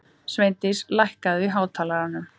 Sveindís, lækkaðu í hátalaranum.